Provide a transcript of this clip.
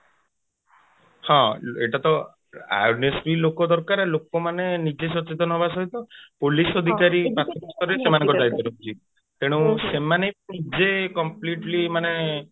ହଁ ଏଇଟା ତ ଲୋକ ଦରକାର ଆଉ ଲୋକମାନେ ନିଜେ ସଚେତନ ହବା ସହିତ police ଅଧିକାରୀ ମାନଙ୍କ ଦାୟିତ୍ୟ ରହୁଛି ତେଣୁ ସେମାନେ ଯେ completely ମାନେ